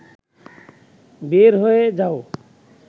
বের হয়ে যাও